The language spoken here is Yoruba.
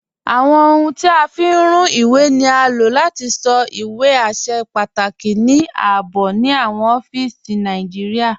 Awọn ọhuń tí a fi ń rùn iwé ni á lò láti sọ́ awọn iwé àṣẹ̀ pàtàkì ní ààbò ni awọn ọ̀fíìsí Nàìjíríà.